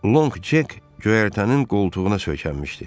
Lonq Cek göyərtənin qoltuğuna söykənmişdi.